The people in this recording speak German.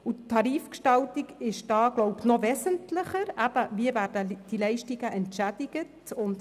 Noch wesentlicher ist hier die Tarifgestaltung, also die Frage, wie die Leistungen entschädigt werden.